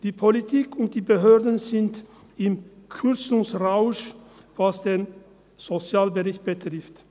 – Die Politik und die Behörden sind im Kürzungsrausch, was den Sozialbereich betrifft.